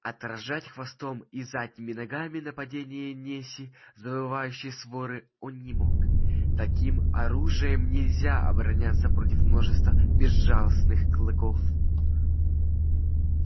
отражать хвостом и задними ногами нападение неси завывающей своры он не мог таким оружием нельзя обороняться против множества безжалостных клыков